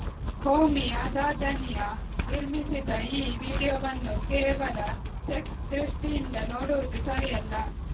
ಹೋಮಿ ಅದಾಜನಿಯಾ ನಿರ್ಮಿಸಿದ ಈ ವಿಡಿಯೋವನ್ನು ಕೇವಲ ಸೆಕ್ಸ್ ದೃಷ್ಟಿಯಿಂದ ನೋಡುವುದು ಸರಿಯಲ್ಲ